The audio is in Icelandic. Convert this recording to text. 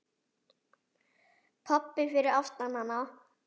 Pabbi fyrir aftan hana